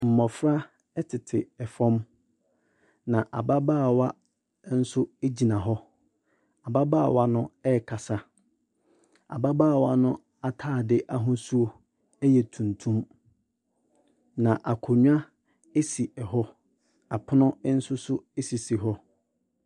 Mmofra ɛtete ɛfam. Na ababaawa nso egyina hɔ. Ababaawa no ɛkasa. Ababaawa no ataade ahosuo ɛyɛ tuntum. Na akonwa esi ɛhɔ. Apono nso so esi ɛhɔ.